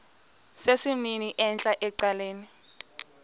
sesimnini entla ecaleni